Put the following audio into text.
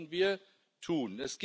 Das sollten wir tun.